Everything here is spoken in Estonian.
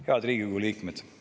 Head Riigikogu liikmed!